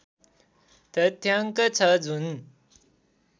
तथ्याङ्क छ जुन